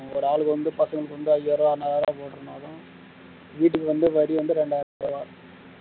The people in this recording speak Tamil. ஓரு ஆளுக்கு வந்து பாத்தா ஐயாயிரம் ஆறாயிரம் போடுறதுனாலும் வீட்டுக்கு வந்து வரி வந்து இரண்டாயிரம் ரூபாய்.